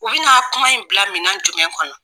U bɛ n'a kuma in bila minɛn in kɔnɔ.